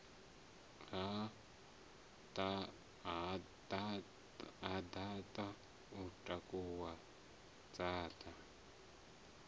ha dzaṱa o takuwa dzaṱa